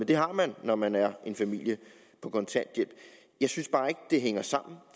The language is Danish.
det har man når man er en familie på kontanthjælp jeg synes bare ikke det hænger sammen